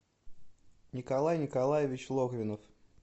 николай николаевич логвинов